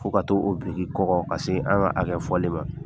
Fo ka t'o biriki kɔgɔ ka se an ka a lɛ fɔli ma